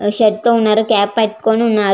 Red shirt తో ఉన్నారు cape పట్టుకొని ఉన్నారు.